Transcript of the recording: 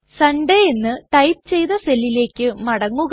Sunday എന്ന് type ചെയ്ത സെല്ലിലേക്ക് മടങ്ങുക